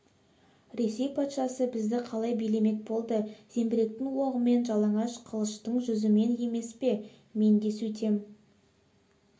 ресей патшасы бізді қалай билемек болды зеңбіректің оғыменен жалаңаш қылыштың жүзімен емес пе мен де сөйтем